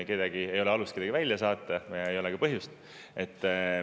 Kedagi ei ole alust välja saata ja ei ole ka põhjust.